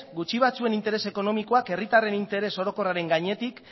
gutxi batzuen interes ekonomikoak herritarren interes orokorraren gainetik